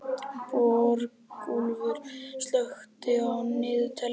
Borgúlfur, slökktu á niðurteljaranum.